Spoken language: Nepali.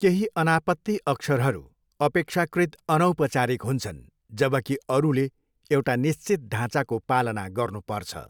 केही अनापत्ति अक्षरहरू अपेक्षाकृत अनौपचारिक हुन्छन्, जबकि अरूले एउटा निश्चित ढाँचाको पालना गर्नुपर्छ।